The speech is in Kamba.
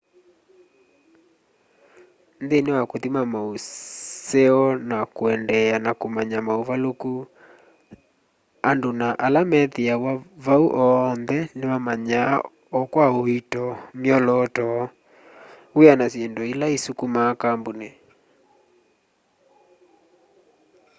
nthini wa kuthima mauseo na kuendeea na kumanya mauvaliku andu na ala methiawa vau oonthe nimamanyaa o kwa uito myolooto wia na syindu ila isukumaa kampuni